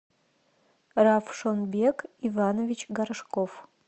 равшонбек иванович горшков